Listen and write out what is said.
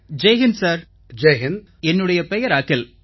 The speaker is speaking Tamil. ஜெய் ஹிந்த் சார் என்னுடைய பெயர் அகில்